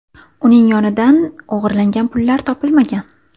Uning yonidan o‘g‘irlangan pullar topilmagan.